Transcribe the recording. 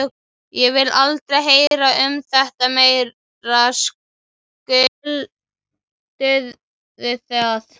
Ég vil aldrei heyra um þetta meira, skilurðu það?